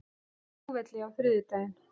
flugvelli á þriðjudaginn.